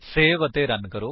save ਅਤੇ run ਕਰੋ